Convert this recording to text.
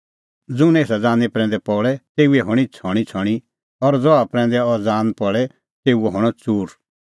ज़ुंण एसा ज़ानीं प्रैंदै पल़े तेऊए हणीं छ़णींछ़णीं और ज़हा प्रैंदै अह ज़ान पल़े तेऊओ हणअ च़ूर